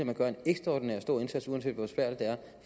man gør en ekstraordinært stor indsats uanset